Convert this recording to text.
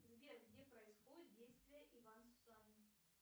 сбер где происходит действие иван сусанин